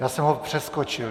Já jsem ho přeskočil.